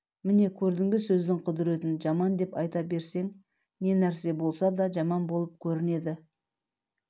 мңне көрдің бе сөздің құдыретін жаман деп айта берсең не нәрсе болса да жаман болып көрінеді